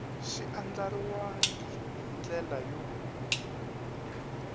xi andlariwangi hi ndlela yo